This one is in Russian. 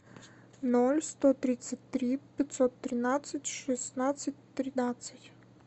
ноль сто тридцать три пятьсот тринадцать шестнадцать тринадцать